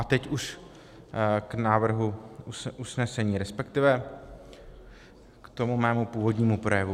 A teď už k návrhu usnesení, respektive k tomu mému původnímu projevu.